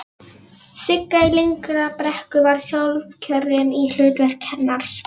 Sigga í Lyngbrekku var sjálfkjörin í hlutverk hennar.